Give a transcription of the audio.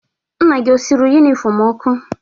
Nna gị o suru yunifọmụ ọkụ?